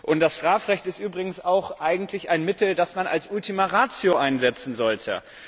Und das Strafrecht ist übrigens auch eigentlich ein Mittel, das man als Ultima Ratio einsetzen sollte.